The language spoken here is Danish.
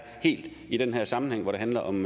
helt i den her sammenhæng hvor det handler om